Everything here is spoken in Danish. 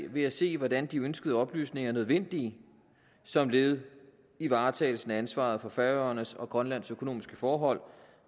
ved at se hvordan de ønskede oplysninger er nødvendige som led i varetagelsen af ansvaret for færøernes og grønlands økonomiske forhold